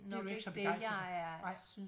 Det du ikke så begejstret for nej